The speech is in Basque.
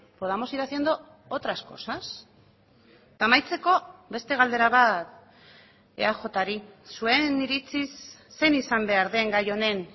podamos ir haciendo otras cosas eta amaitzeko beste galdera bat eajri zuen iritziz zein izan behar den gai honen